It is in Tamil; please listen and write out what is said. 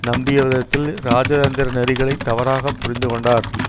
நம்பியவிதத்தில் இராஜதந்திர நெறிகளைத் தவறாக புரிந்து கொண்டார்